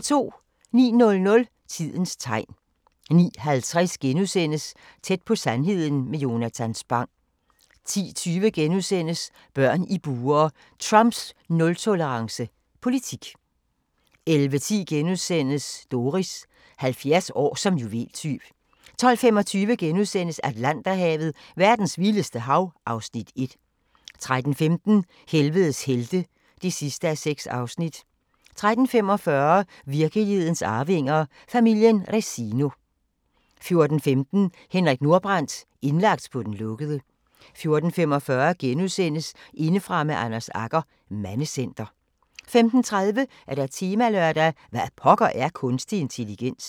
09:00: Tidens tegn 09:50: Tæt på sandheden med Jonatan Spang * 10:20: Børn i bure – Trumps nul-tolerance politik * 11:10: Doris – 70 år som juveltyv * 12:25: Atlanterhavet: Verdens vildeste hav (Afs. 1)* 13:15: Helvedes helte (6:6) 13:45: Virkelighedens arvinger: Familien Resino 14:15: Henrik Nordbrandt – indlagt på den lukkede 14:45: Indefra med Anders Agger – Mandecenter * 15:30: Temalørdag: Hvad pokker er kunstig intelligens?